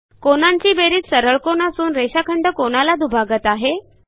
कोनांची बेरीज सरळकोन असून रेषाखंड कोनाला दुभागत आहे